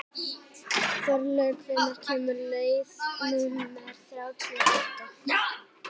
Þorlaug, hvenær kemur leið númer þrjátíu og átta?